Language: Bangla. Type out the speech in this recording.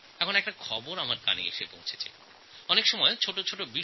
কখনও কখনও কিছু ছোটো ছোটো জিনিস আমাকে খুব আনন্দ দেয়